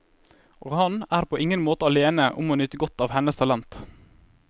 Og han er på ingen måte alene om å nyte godt av hennes talent.